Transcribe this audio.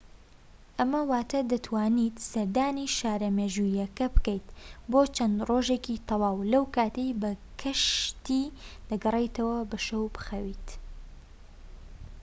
ئەمە واتە دەتوانیت سەردانی شارە مێژوییەکە بکەیت بۆ چەند ڕۆژێکی تەواو لەو کاتەی بە کەشتی دەگەڕێیتەوە و بە شەو بخەویت